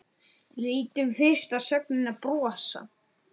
Lítum fyrst á sögnina brosa: